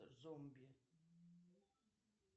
зомби